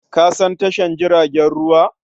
Ka san tashar jiragen ruwa?